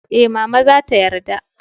eh, mama za ta yarda